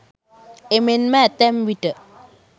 එමෙන්ම ඇතැම් විට